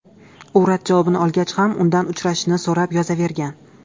U rad javobini olgach ham, udan uchrashishni so‘rab yozavergan.